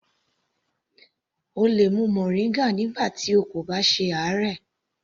O lè mu moringa nígbà tí o kò bá ṣe àárẹ̀.